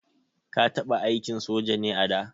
Ka taɓa aikin soja ne a da?